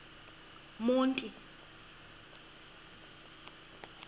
monti